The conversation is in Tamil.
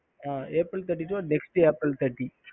ஹம்